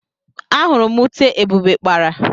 Ahuru m ute Ebube kpara.